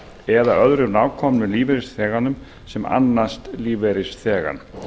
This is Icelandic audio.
eða öðrum nákomnum lífeyrisþeganum sem annast lífeyrisþegann